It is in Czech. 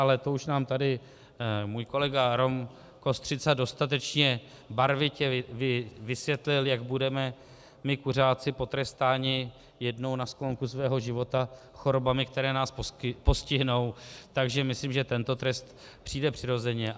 Ale to už nám tady můj kolega Rom Kostřica dostatečně barvitě vysvětlil, jak budeme my kuřáci potrestáni jednou na sklonku svého života chorobami, které nás postihnou, takže myslím, že tento trest přijde přirozeně.